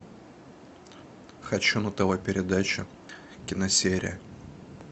хочу на тв передачу киносерия